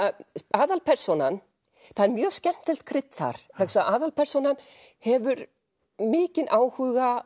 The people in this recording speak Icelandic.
aðalpersónan það er mjög skemmtilegt krydd þar vegna þess að aðalpersónan hefur mikinn áhuga